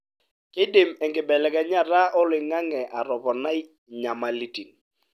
keidim enkibelekenyata oloingange atoponai enyamalitin.